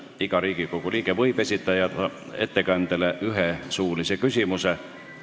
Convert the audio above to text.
Iga Riigikogu liige võib esitada ettekandjale ühe suulise küsimuse.